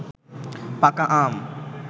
পাকা আম